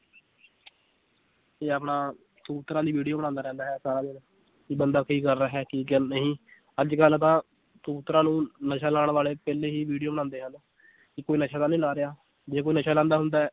ਤੇ ਆਪਣਾ ਕਬੂਤਰਾਂ ਦੀ video ਬਣਾਉਂਦਾ ਰਹਿੰਦਾ ਹੈ ਬੰਦਾ ਕੀ ਕਰ ਰਿਹਾ ਹੈ ਨਹੀਂ ਅੱਜ ਕੱਲ੍ਹ ਤਾਂ ਕਬੂਤਰਾਂ ਨੂੰ ਨਸ਼ਾ ਲਾਉਣ ਵਾਲੇ ਪਹਿਲੇ ਹੀ video ਬਣਾਉਂਦੇ ਹਨ ਕਿ ਕੋਈ ਨਸ਼ਾ ਤਾਂ ਨੀ ਲਾ ਰਿਹਾ, ਜੇ ਕੋਈ ਨਸ਼ਾ ਲਾਉਂਦਾ ਹੁੰਦਾ ਹੈ